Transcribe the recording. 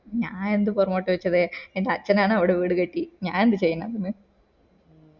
ഞാൻ എന്ത് പൊറകോട്ട് വച്ചത് എൻ്റെ അച്ഛനാണ് അവിടെ വീട് കട്ടി ഞാൻ എന്ത് ചെയ്യാനാണ്